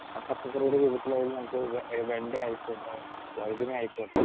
speaker 2 ആ പച്ചക്കറിയുടെ രൂപത്തിലായാലും നമുക്ക് വെണ്ടയായിക്കോട്ടെ, വഴുതന ആയിക്കോട്ടെ